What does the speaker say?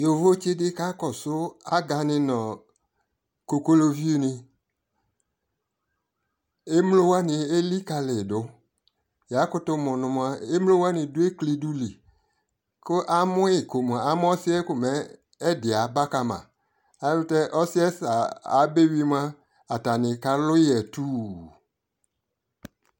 alʋɛdini aya nʋ ɛvɛ, alɛ adɛka ni, atani akɔ agbavlɛ kʋ adʋ ʋƒa nʋ ɔmɔ kʋ ɛtwɛ powder nʋ ɛtʋ kʋ ayɔ ɔvlɛ dini yɔ wʋnʋatami ɛlʋɛ kʋaka lakʋaka dʋ ɔnɔ